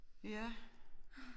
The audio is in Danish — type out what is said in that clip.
Ja